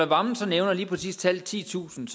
wammen så nævner lige præcis tallet titusind